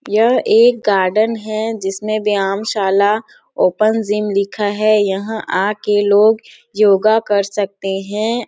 यह एक गार्डन है जिसमें व्यायाम साला ओपन जिम लिखा है यहाँ आके लोग योगा कर सकते हैं ।